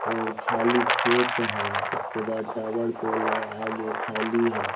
और खाली खेत है उसके बाद टावर पोल है आगे खाली है।